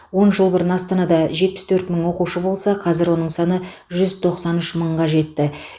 он жыл бұрын астанада жетпіс төрт мың оқушы болса қазір оның саны жүз тоқсан үш мыңға жетті